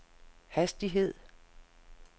hastighed